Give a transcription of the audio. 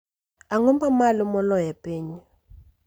Ang'o ma malo moloyo e piny